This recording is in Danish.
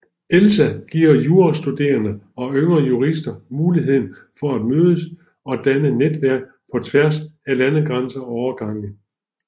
ELSA giver jurastuderende og yngre jurister muligheden for at mødes og danne netværk på tværs af landegrænser og årgange